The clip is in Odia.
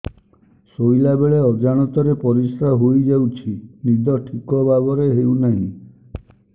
ଶୋଇଲା ବେଳେ ଅଜାଣତରେ ପରିସ୍ରା ହୋଇଯାଉଛି ନିଦ ଠିକ ଭାବରେ ହେଉ ନାହିଁ